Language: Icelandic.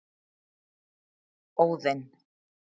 Óðinn